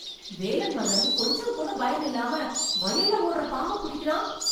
வேலன் மகன் கொஞ்சம் கூட பயமில்லாம வயல்ல ஓடற பாம்ப புடிக்காரன்.